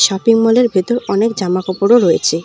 Shopping মলের ভেতর অনেক জামা কাপড়ও রয়েছে।